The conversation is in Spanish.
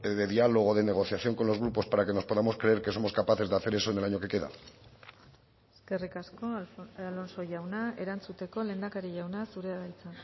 de diálogo o de negociación con los grupos para que nos podamos creer que somos capaces de hacer eso en el año que queda eskerrik asko alonso jauna erantzuteko lehendakari jauna zurea da hitza